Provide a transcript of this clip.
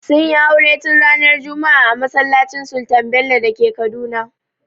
Sunyi aure tun ranar juma'a a masallacin sultan bello dake Kaduna